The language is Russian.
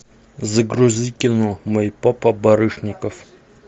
загрузи кино мой папа барышников